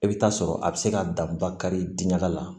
I bɛ taa sɔrɔ a bɛ se ka dan bakari diɲɛ la